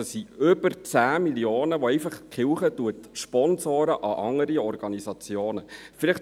Es sind über 10 Mio. Franken, welche die Kirche anderen Organisationen spendet.